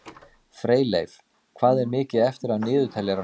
Freyleif, hvað er mikið eftir af niðurteljaranum?